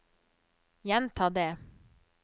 gjenta det